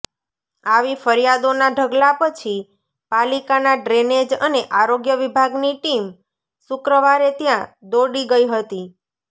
આવી ફરિયાદોના ઢગલા પછી પાલિકાના ડ્રેનેજ અને આરોગ્ય વિભાગની ટીમ શુક્રવારે ત્યાં દોડી ગઈ હતી